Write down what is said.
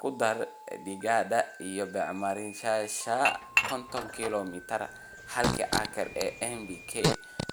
Ku dar digada iyo bacrimiyeyaasha (koton kilomitar halkii acre ee NPK)